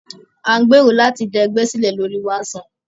A ń gbèrò láti dá ẹgbẹ́ sílẹ̀ lóri WhatsApp.